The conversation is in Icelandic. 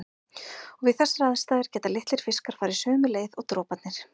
Og við þessar aðstæður geta litlir fiskar farið sömu leið og droparnir.